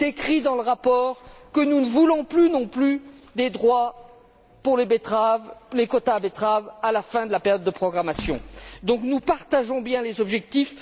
Il est écrit dans le rapport que nous ne voulons plus, non plus, de droits pour les quotas de betteraves à la fin de la période de programmation. Nous partageons donc bien les objectifs.